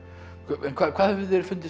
en hvað hefur þér fundist